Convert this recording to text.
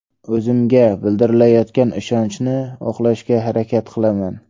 O‘zimga bildirilayotgan ishonchni oqlashga harakat qilaman.